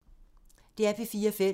DR P4 Fælles